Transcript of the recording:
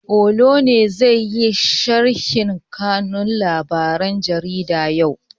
Olu ne zai yi sharhin kanun labaren jarida yau?